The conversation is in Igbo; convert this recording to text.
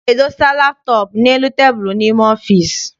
A na-edosa laptọọp n'elu tebulu n'ime ọfịịsi.